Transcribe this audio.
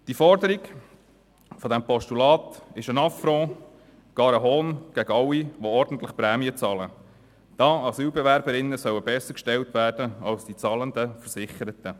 Die Forderung dieses Postulats ist ein Affront, ja sogar ein Hohn gegenüber allen, die ordentlich Prämien bezahlen, da Asylbewerberinnen bessergestellt werden sollen als die zahlenden Versicherten.